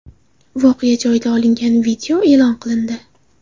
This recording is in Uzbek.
Voqea joyida olingan video e’lon qilindi.